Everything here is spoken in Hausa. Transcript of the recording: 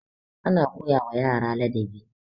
ana koyawa yara ladabi